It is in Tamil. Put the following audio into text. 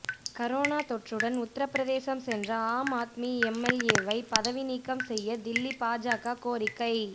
கரோனா தொற்றுடன் உபி சென்ற ஆம் ஆத்மி எம்எல்ஏவை பதவி நீக்கம் செய்ய தில்லி பாஜக கோரிக்கை